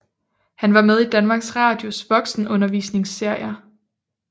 Han var med i Danmarks Radios voksenundervisningsserier